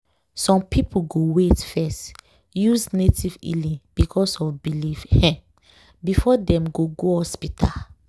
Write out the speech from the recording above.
some people go wait first use native healing because of belief um before dem go go hospital.